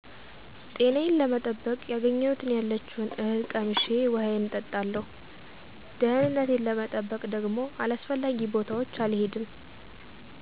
ጤናዬን ለመጠበቅ ያገኘሁትን ያለችውን እህል ቀምሼ ውሀዬን እጠጣለሁ። ደህንነቴን ለመጠበቅ ደግሞ አላስፈላጊ ቦታዎች አልሄድም።